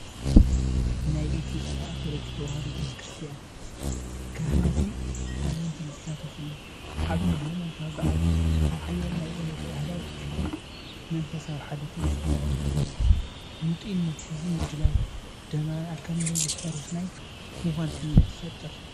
ናይ ኢትዮጵያ ኦርቶዶክስ ተዋህዶ ቤተ ክርስቲያን ካህናትን ኣመንትን ዝሳተፍሉ ዓቢ ሃይማኖታዊ በዓል እዩ። ሓያል ናይ እምነት፣ ባህላዊ ትውፊትን መንፈሳዊ ሓድነትን ይስምዓኒ። ህንጡይነት ህዝብን ምድላው ደመራን ኣካል ነዊሕ ታሪኽ ናይ ምዃን ስምዒት ይፈጥር።